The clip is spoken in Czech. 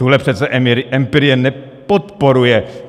Tuhle přeci empirie nepodporuje.